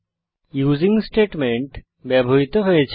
using statement ব্যবহৃত হয়েছে